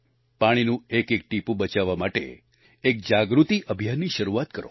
પાણીનું એકએક ટીપું બચાવવા માટે એક જાગૃતિ અભિયાનની શરૂઆત કરો